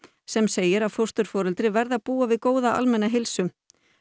sem segir að fósturforeldri verði að búa við góða almenna heilsu